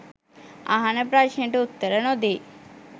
අහන ප්‍රශ්නෙට උත්තර නොදී